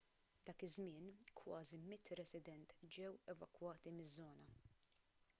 dak iż-żmien kważi 100 resident ġew evakwati miż-żona